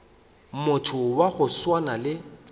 motho wa go swana le